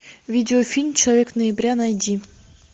видеофильм человек ноября найди